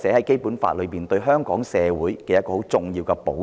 《基本法》中亦對香港社會提供很重要的保障。